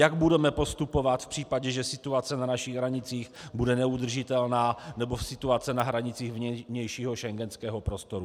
Jak budeme postupovat v případě, že situace na našich hranicích bude neudržitelná nebo situace na hranicích vnějšího schengenského prostoru?